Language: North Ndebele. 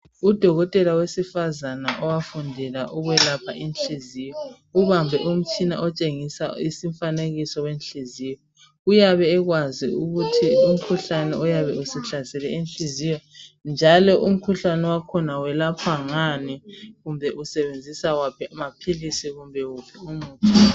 Udokotela wesifazana owafundela ukwelapha inhliziyo ubambe umtshina otshengisa umfanekiso wenhliziyo uyabe ekwazi ukuthi umkhuhlane oyabe usuhlasele inhliziyo njalo umkhuhlane wakhona uyelaphwa ngani kumbe usebenzisa waphi amaphilisi.